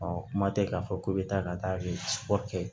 Ɔ kuma tɛ k'a fɔ k'u bɛ taa ka taa kɛ